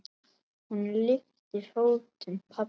Hún lyftir fótum pabba.